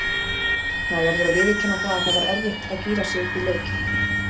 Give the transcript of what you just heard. Maður verður að viðurkenna það að það var erfitt að gíra sig upp í leikinn.